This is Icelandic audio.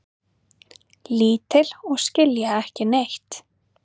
Lítil og skilja ekki neitt.